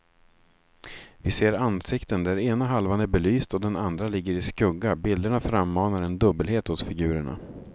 Vi ser ansikten där ena halvan är belyst och den andra ligger i skugga, bilderna frammanar en dubbelhet hos figurerna.